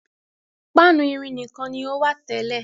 Páánù irin nìkan ni ó wà tẹ́lẹ̀.